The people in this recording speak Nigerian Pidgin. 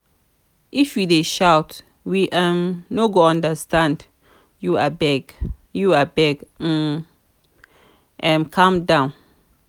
if you dey shout we um no go understand you abeg you abeg um calm um down.